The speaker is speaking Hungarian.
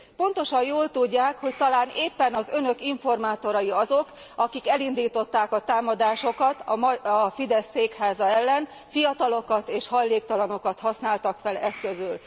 Pontosan jól tudják, hogy talán éppen az Önök informátorai azok, akik elindították a támadásokat a Fidesz székháza ellen, fiatalokat és hajléktalanokat használtak fel eszközül.